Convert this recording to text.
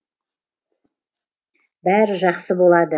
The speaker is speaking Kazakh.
бәрі жақсы болады